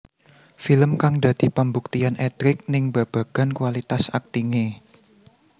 Film kang dadi pambuktian Edric ning babagan kualitas aktingé